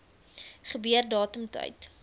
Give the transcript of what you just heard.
gebeur datum tyd